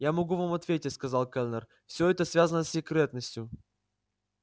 я могу вам ответить сказал кэллнер всё это связано с секретностью